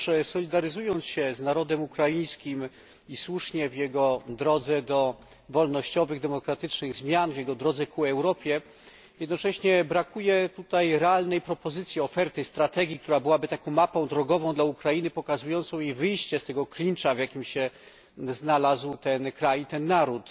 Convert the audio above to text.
Solidaryzując się z narodem ukraińskim i słusznie w jego drodze do wolnościowych, demokratycznych zmian, w jego drodze ku Europie, jednocześnie brakuje tutaj realnej propozycji, oferty, strategii, która byłaby taką mapą drogową dla Ukrainy, pokazującą jej wyjście z tego klinczu, w jakim się znalazł ten kraj i ten naród.